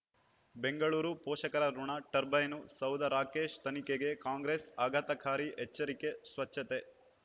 ಬೆಂಗಳೂರು ಪೋಷಕರಋಣ ಟರ್ಬೈನು ಸೌಧ ರಾಕೇಶ್ ತನಿಖೆಗೆ ಕಾಂಗ್ರೆಸ್ ಆಘಾತಕಾರಿ ಎಚ್ಚರಿಕೆ ಸ್ವಚ್ಛತೆ